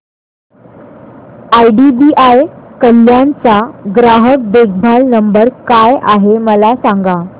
IDBI Kalyan चा ग्राहक देखभाल नंबर काय आहे मला सांगा